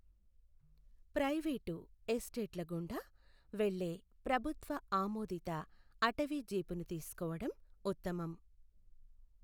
Private ఎస్టేట్ల గుండా వెళ్లే ప్రభుత్వ ఆమోదిత అటవీ జీపును తీసుకోవడం ఉత్తమం.